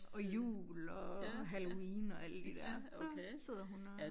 Og jul og halloween og alle de der så sidder hun og